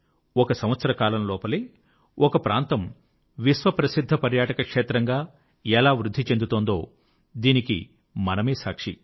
ఒక సంవత్సర కాలంలోపలే ఒక ప్రాంతం విశ్వప్రసిద్ధ పర్యాటక క్షేత్రం గా ఎలా వృద్ధి చెందుతుందో దీనికి మనమే సాక్షి